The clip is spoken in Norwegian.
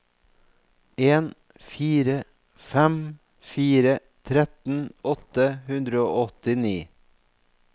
en fire fem fire tretten åtte hundre og åttini